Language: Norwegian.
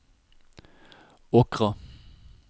Åkra